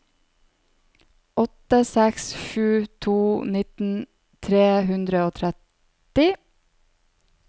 åtte seks sju to nitten tre hundre og tretti